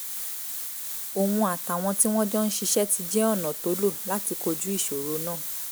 òun àtàwọn tí wọ́n jọ ń ṣiṣẹ́ ti jẹ́ ọ̀nà tó lò láti kojú ìṣòro náà